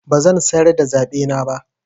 Bazan sayar da zaɓena ba.